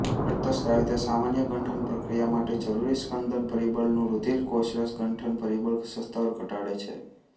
રક્તસ્રાવિતા સામાન્ય ગંઠન પ્રક્રિયા માટે જરૂરી સ્કંદન પરિબળનું રૂધિર કોષરસ ગંઠન પરિબળ સ્તર ઘટાડે છે